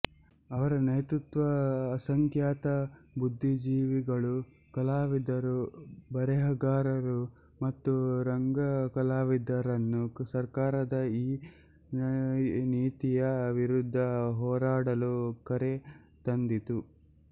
ಅವರ ನೇತೃತ್ವವು ಅಸಂಖ್ಯಾತ ಬುದ್ದಿಜೀವಿಗಳುಕಲಾವಿದರುಬರೆಹಗಾರರು ಮತ್ತು ರಂಗ ಕಲಾವಿದರನ್ನು ಸರ್ಕಾರದ ಈ ನೀತಿಯ ವಿರುದ್ಧ ಹೋರಾಡಲು ಕರೆ ತಂದಿತು